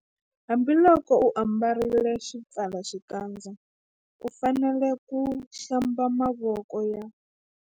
Hambiloko u ambarile xipfalaxikandza u fanele ku- Hlamba mavoko ya.